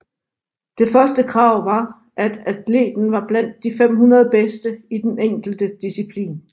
Det første krav var at atleten var blandt de 500 bedste i den enkelte disciplin